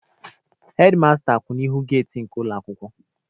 Hedi masta kwụ n'ihu geti ụlọ akwụkwọ